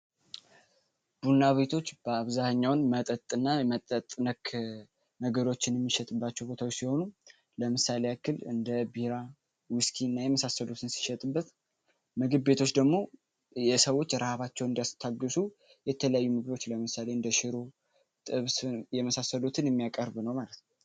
ቡናቤቶች በአብዛህኛውን መጠጥ እና መጠጥነክ ነገሮችን የሚሸጥባቸው ቦታዩ ሲሆኑም ለምሳሌ እክል እንደ ቢራ ዊስኪ እና የመሳሰሎትን ሲሸጥበት ምግብ ቤቶች ደግሞ የሰዎች ርሀባቸውን እንዲያስታግሱ የተለያዩ ምግዶች ለምሳሌ እንደ ሽሮ ጥብስን የመሳሰሎትን የሚያቀርብ ነው ማለት